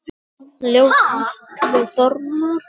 Ljóð: Atli Þormar